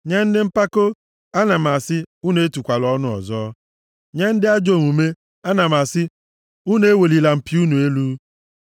Nye ndị mpako, ana m asị, ‘Unu etukwala ọnụ ọzọ, nye ndị ajọ omume, ana m asị, Unu ewelila mpi + 75:4 Mpi na-anọchite anya ike nʼebe a unu elu.